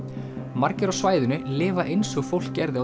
margir á svæðinu lifa eins og fólk gerði á